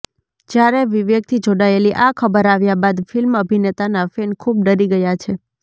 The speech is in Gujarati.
જ્યારે વિવેકથી જોડાયેલી આ ખબર આવ્યા બાદ ફિલ્મ અભિનેતાના ફેન ખૂબ ડરી ગયા છે